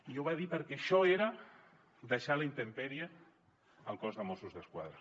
i ho va dir perquè això era deixar a la intempèrie el cos de mossos d’esquadra